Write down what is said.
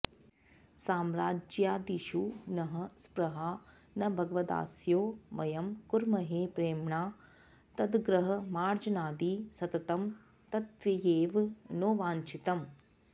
साम्राज्यादिषु नः स्पृहा न भगवद्दास्यो वयं कुर्महे प्रेम्णा तद्गृहमार्जनादि सततं तद्ध्येव नो वाञ्च्छितम्